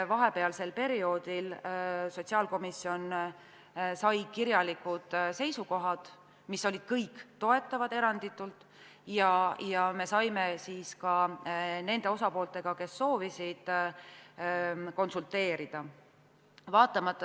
Vahepealsel ajal sotsiaalkomisjon sai kirjalikud seisukohad, mis olid kõik toetavad, ja me saime siis ka nende osapooltega, kes soovisid, konsulteerida.